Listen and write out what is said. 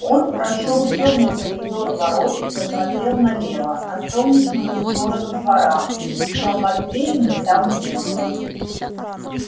он прошёл тёмный коридор ворот и посмотрел налево на солнечную сторону двора но матвеевны там не было